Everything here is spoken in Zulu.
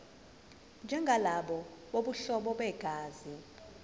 njengalabo bobuhlobo begazi